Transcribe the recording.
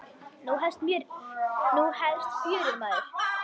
Nú hefst fjörið, maður.